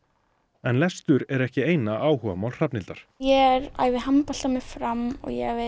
en lestur er ekki eina áhugamál Hrafnhildar ég æfi handbolta með Fram og